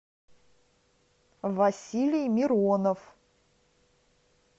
василий миронов